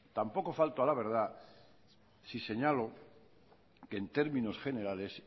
tampoco falto a la verdad si señalo que en términos generales